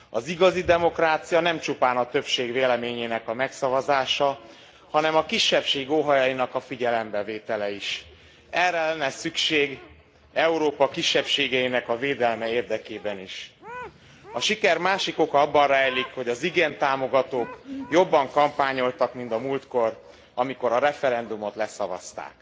Az igazi demokrácia nem csupán a többség véleményének a megszavazása, hanem a kisebbség óhajainak figyelembevétele is. Erre lenne szükség Európa kisebbségeinek a védelme érdekében is. A siker másik oka abban rejlik, hogy az igent támogatók jobban kampányoltak, mint a múltkor, amikor a referendumot leszavazták.